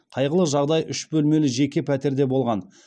қайғылы жағдай үш бөлмелі жеке пәтерде болған